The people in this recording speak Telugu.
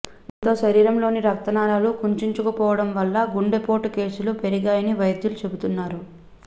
దీంతో శరీరంలోని రక్తనాళాలు కుంచించుకుపోవడం వల్ల గుండెపోటు కేసులు పెరిగాయని వైద్యులు చెబుతున్నారు